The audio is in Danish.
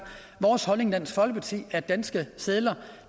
vores holdning i dansk folkeparti at danske sedler